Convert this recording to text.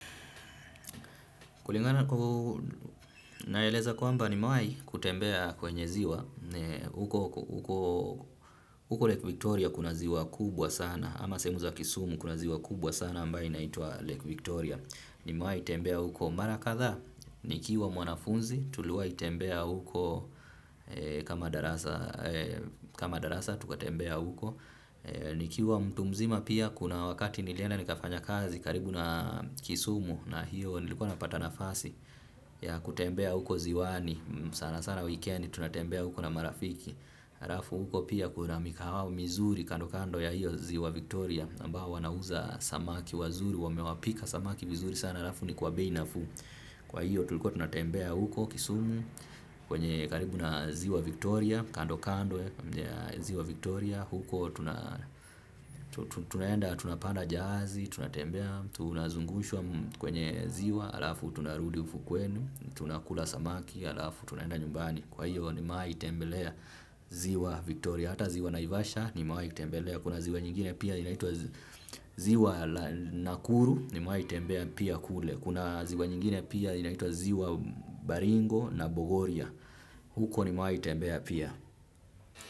Kulingana naeleza kwamba nimewahi kutembea kwenye ziwa. Huko Lake Victoria kuna ziwa kubwa sana ama sehemu za kisumu kuna ziwa kubwa sana ambayo inaitwa Lake Victoria nimewahi tembea huko mara kadhaa. Nikiwa mwanafunzi tuliwahi tembea huko kama darasa kama darasa tukatembea huko. Nikiwa mtu mzima pia kuna wakati nilienda nikafanya kazi karibu na Kisumu na hiyo nilikuwa napata nafasi ya kutembea huko ziwani, sana sana weekendi tunatembea huko na marafiki. Harafu huko pia kuna mikahawa mizuri kando kando ya hiyo ziwa Victoria ambao wanauza samaki wazuri, wamewapika samaki vizuri sana harafu ni kwa bei nafuu. Kwa hiyo tulikuwa tunatembea huko Kisumu kwenye karibu na ziwa Victoria kando kando ya ziwa Victoria huko tuna tunaenda tunapanda jahazi, tunatembea, tunazungushwa kwenye ziwa, alafu tunarudi ufukweni, tunakula samaki, alafu tunaenda nyumbani. Kwa hiyo nimewaitembelea ziwa Victoria, hata ziwa Naivasha nimewaitembelea. Kuna ziwa nyingine pia inaitwa ziwa la Nakuru nimewaitembea pia kule. Kuna ziwa nyingine pia inaitwa ziwa Baringo na Bogoria. Huko ni mawai itembea pia.